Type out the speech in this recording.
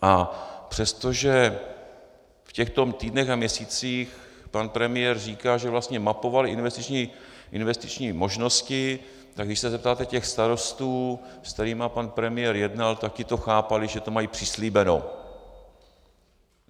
A přestože v těchto týdnech a měsících pan premiér říká, že vlastně mapoval investiční možnosti, tak když se zeptáte těch starostů, s kterými pan premiér jednal, tak ti to chápali, že to mají přislíbeno.